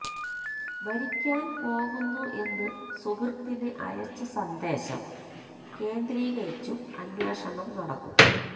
മരിക്കാൻ പോകുന്നു എന്ന് സുഹൃത്തിന് അയച്ച സന്ദേശം കേന്ദ്രീകരിച്ചും അന്വേഷണം നടന്നു